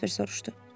Jasper soruşdu.